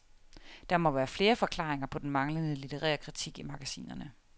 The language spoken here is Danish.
Der må være flere forklaringer på den manglende litterære kritik i magasinerne.